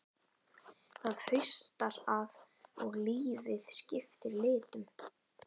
Það haustar að og lífið skiptir litum.